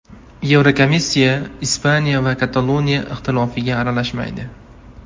Yevrokomissiya Ispaniya va Kataloniya ixtilofiga aralashmaydi.